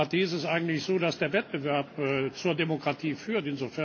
In der Demokratie ist es eigentlich so, dass der Wettbewerb zur Demokratie führt.